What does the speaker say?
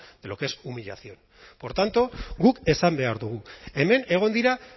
de lo que es humillación por tanto guk esan behar dugu hemen egon dira